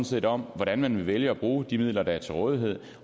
set om hvordan man vil vælge at bruge de midler der er til rådighed